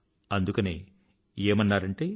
అందుకనే ఏమన్నారంటే